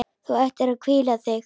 Þú ættir að hvíla þig.